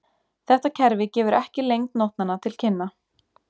Þetta kerfi gefur ekki lengd nótnanna til kynna.